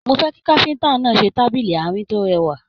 Mo fẹ kí káfíntà náà ṣe tábìlì àárín to rẹwà.